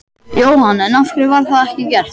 Jóhann: En af hverju var það ekki gert?